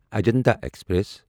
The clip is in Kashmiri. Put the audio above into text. اجنتا ایکسپریس